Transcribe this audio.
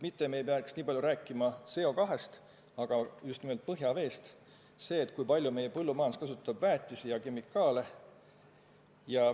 Me ei peaks nii palju rääkima CO2-st, vaid just nimelt põhjaveest, sellest, kui palju meie põllumajandus kasutab väetisi ja muid kemikaale.